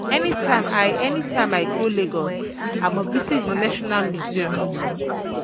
um anytime I um anytime I go Lagos, I must visit the National um Museum